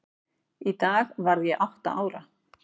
Í dag varð ég átta ára.